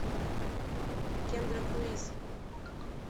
кендра круиз